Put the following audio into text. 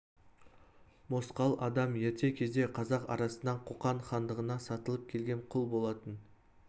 мосқал адам ерте кезде қазақ арасынан қоқан хандығына сатылып келген құл болатын